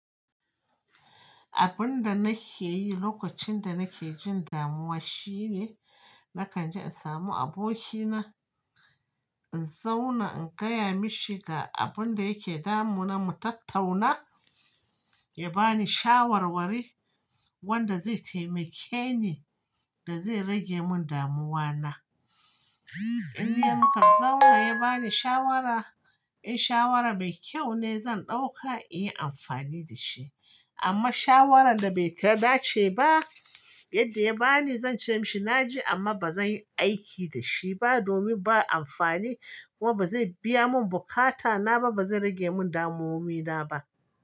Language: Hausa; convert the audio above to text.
Abin da nake yi lokacin da nake jin damuwa shine, na kan je in samu abokina, in zauna in gaya mishi ga abin da yake damuna, mu tattauna, ya bani shawarwari wanda zai taimake ni da zai rage mun damuwa na. In yanka zauna ya bani shawara, in shawara mai kyau ne zan ɗauka in yi amfani da shi. Amma shawarar da bai tada ce ba yadda ya bani zan ce mishi na ji amma ba zan yi aiki da shi ba domin ba amfani kuma ba zai biya mun bukata na ba, ba zai rage mun damuwomi na ba.